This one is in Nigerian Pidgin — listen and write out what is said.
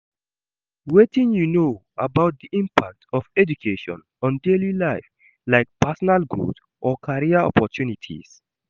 Wetin you know about di impact of education on daily life, like personal growth or career opportunities?